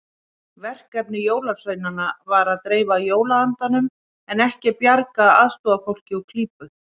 Verkefni jólasveinanna var að dreifa jólaandanum en ekki bjarga aðstoðarfólki úr klípu.